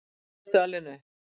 Hvar ertu alin upp?